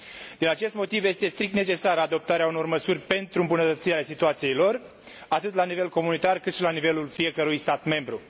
Din acest motiv, este strict necesară adoptarea unor măsuri pentru îmbunătățirea situației lor, atât la nivel comunitar cât și la nivelul fiecărui stat membru.